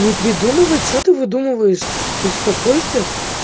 не придумывай что ты выдумываешь успокойся